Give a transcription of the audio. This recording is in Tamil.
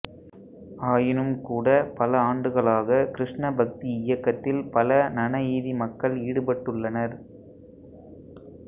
ஆயினும்கூட பல ஆண்டுகளாக கிருஷ்ண பக்தி இயக்கத்தில் பல நநஈதி மக்கள் ஈடுபட்டுள்ளனர்